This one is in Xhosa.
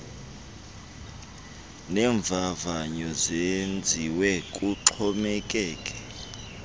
neemvavanyo zenziwe kuxhomekeke